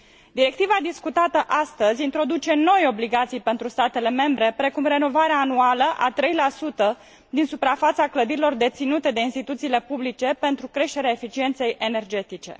Directiva discutată astăzi introduce noi obligații pentru statele membre, precum renovarea anuală a 3 din suprafața clădirilor deținute de instituțiile publice, pentru creșterea eficienței energetice.